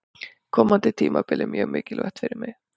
Komandi tímabil er mjög mikilvægt fyrir mig.